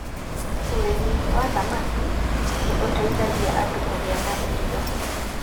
Ũrĩmi wa thamaki nĩ ũteithagia andũ kũgĩa na irio.